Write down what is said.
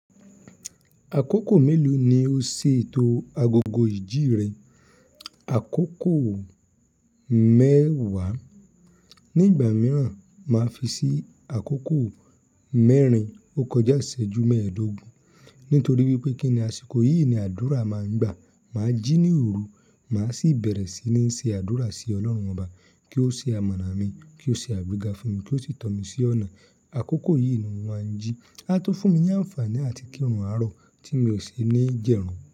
Àkókò mélòó ni o ṣètò agogo ìjírìn? Àkókò mẹ́wàá. Ni ìgbà mìíràn, màá fi sí àkókò mẹ́rin. O kọjá ìṣẹ́jú mẹ́ẹ̀ẹ́dógún. Nítorí wípé kíni àsìkò yìí ni àdúrà máa ń gbà. Màá jí ní òru, màá sì bẹ̀rẹ̀ sí ní ṣe àdúrà sí Ọlọ́run ọba, kí ó ṣe amọ̀na mi, kí ó ṣe àgbéga fún mi, kí ó sì tọ́ mi sí ọ̀nà. Àkókò yìí ni wọ́n ń jí. Á tun fúnmi ní àǹfààní làti kírun àárọ̀ tí mi ò ṣi ní jẹ́run.